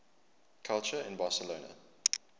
culture in barcelona